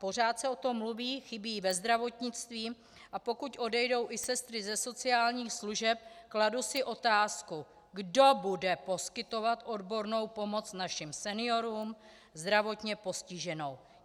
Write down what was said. Pořád se o tom mluví, chybí ve zdravotnictví, a pokud odejdou i sestry ze sociálních služeb, kladu si otázku: Kdo bude poskytovat odbornou pomoc našim seniorům, zdravotně postiženým?